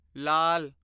ਲਾਲ